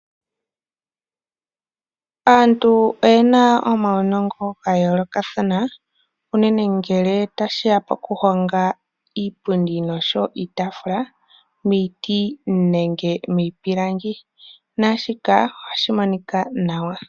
Aantu oye na omaunongo ga yoolokathana, unene ngele tashiya poku honga iipundi noshowo iitaafula miiti nenge miipilangi. Naashika ohashi monika nawa.